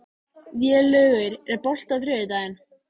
Vélaugur, er bolti á þriðjudaginn?